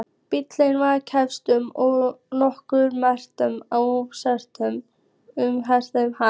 Bíllinn var kyrrstæður og nokkrar mannverur á stjákli umhverfis hann.